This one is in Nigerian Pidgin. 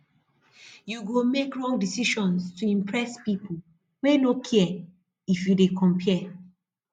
you go make wrong decision to impress pipo wey no care if you dey compare